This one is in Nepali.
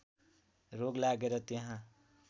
रोग लागेर त्यहाँ